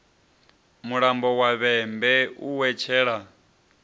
mulambo wa vhembe a wetshela